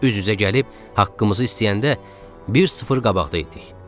Üz-üzə gəlib haqqımızı istəyəndə bir sıfır qabaqda idik.